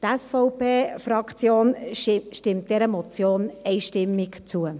Die SVP-Fraktion stimmt dieser Motion einstimmig zu.